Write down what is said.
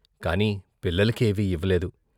కాని పిల్లల కేవీ ఇవ్వలేదు.